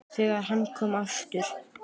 ÞEGAR HANN KOM AFTUR